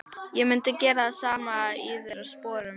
Ég mundi gera það sama í þeirra sporum.